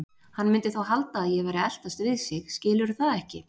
Hann mundi þá halda að ég væri að eltast við sig, skilurðu það ekki?